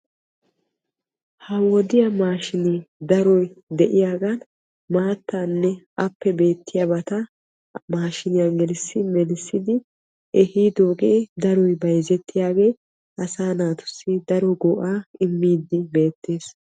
Ha wodiya maashinne daroy de'iyagan maatanne appe beetiyabata maashiniyan gelissi melissiddi ehiidoge daroy bayzzettiyage asaa naatussi daro go'a immidde beetes.